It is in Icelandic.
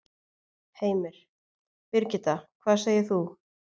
Heimir: Birgitta, hvað segir þú?